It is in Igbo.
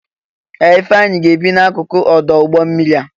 Ee! Ifeanyi ga-ebi n'akụkụ ọdụ ụgbọ mmiri a.